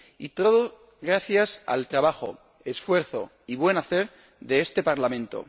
Y todo gracias al trabajo, esfuerzo y buen hacer de este Parlamento.